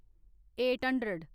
eight hundred